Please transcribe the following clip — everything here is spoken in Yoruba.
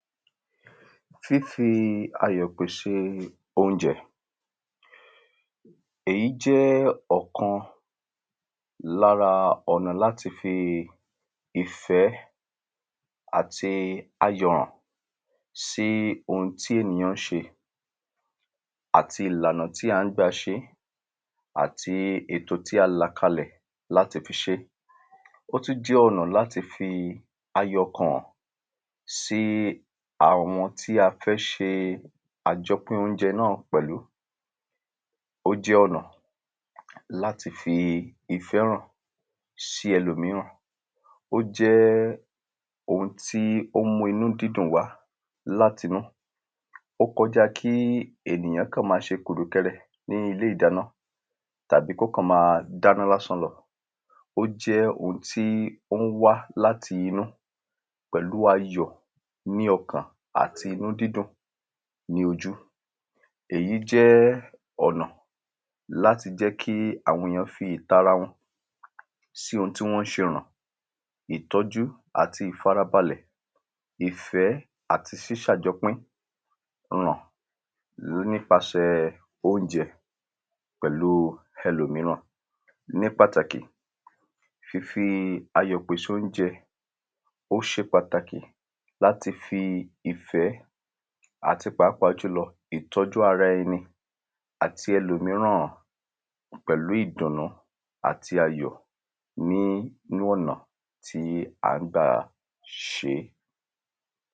Fífi ayọ̀ pèsè óúnjẹ èyí jẹ́ ọ̀kan lára ọ̀nà láti fi ìfẹ́ àti ayọ̀ hàn sí oun tí èyàn ń ṣe àti ìlànà tí à ń gbà ṣé àti ètò tí a là kalẹ̀ láti fi ṣé ó sì jẹ́ ọ̀nà láti fi ayọ̀ hàn sí àwọn tí a fẹ́ ṣe àjọpín óúnjẹ náà pẹ̀lú. Ó jẹ́ ọ̀nà láti fi ifẹ́ hàn sí ẹlòmíràn. Ó jẹ́ ohun tí ó ń mú inú dídùn wá láti inú ó kọ̀já kí ènìyàn kàn má ṣe kùrùkẹrẹ ní ilé ìdáná tàbí kó kàn má dáná lásán lọ ó jẹ́ oun tí ó ń wá láti inú pẹ̀lú ayọ̀ ní ọkàn àti inú dídùn ní ojú èyí jẹ́ ọ̀nà láti lè jẹ́ kí àwọn èyàn fi ìtara wọn sí oun tí wọ́n ń ṣe yẹn ìtọ́jú àti ìfarabalẹ̀ ìfẹ́ àti sísàjọpín ọ̀nà nípasẹ óúnjẹ pẹ̀lú ẹlòmíràn nípàtàkì ìfī-ayọ̀-pèsè-óúnjẹ ó ṣe pàtàkì láti fi ìfẹ́ àti pàápàá jùlọ ìtọ́jú ara ẹni àti ẹlòmíràn pẹ̀lú ìdùnú àti ayọ̀ ní ọ̀nà tí à ń gbà ṣé.